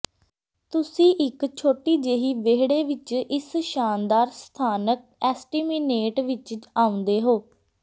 ਤੁਸੀਂ ਇੱਕ ਛੋਟੀ ਜਿਹੀ ਵਿਹੜੇ ਵਿੱਚ ਇਸ ਸ਼ਾਨਦਾਰ ਸਥਾਨਕ ਐਸਟੇਮਿਨੇਟ ਵਿੱਚ ਆਉਂਦੇ ਹੋ